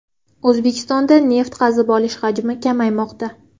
O‘zbekistonda neft qazib olish hajmi kamaymoqda.